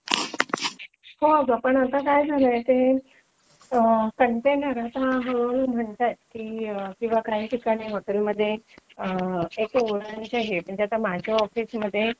होगा पण आता काय झालंय ते कंटेनर आता हळूहळू म्हणतायेत किंवा काही ठिकाणी हॉटेलमध्ये एक वुडन्स हे म्हणजे माझ्या ऑफिसमध्ये